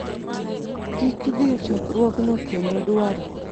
kik dhi e chokruogno kendo dwaro